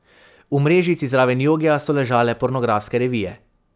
V mrežici zraven jogija so ležale pornografske revije.